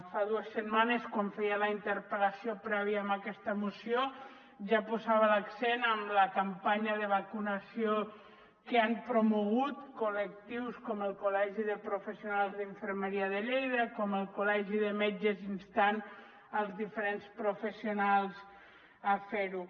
fa dues setmanes quan feia la interpel·lació prèvia a aquesta moció ja posava l’accent en la campanya de vacunació que han promogut col·lectius com el col·legi de professionals d’infermeria de lleida com el col·legi de metges instant els diferents professionals a fer ho